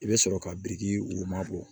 I bɛ sɔrɔ ka biriki woma bɔ